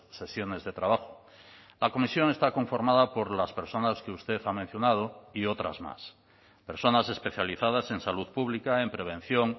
sesiones de trabajo la comisión está conformada por las personas que usted ha mencionado y otras más personas especializadas en salud pública en prevención